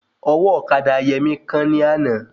Ọwọ́ ọ̀kadà Yẹmí kán ní àná